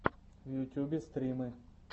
в ютьюбе стримы